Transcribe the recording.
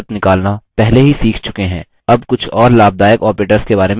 अब कुछ और लाभदायक operators के बारे में सीखते हैं